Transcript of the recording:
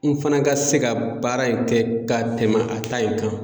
N fana ka se ka baara in kɛ ka tɛmɛ a ta in kan.